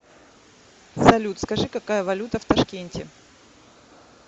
салют скажи какая валюта в ташкенте